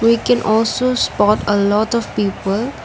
we can also spot a lot of people.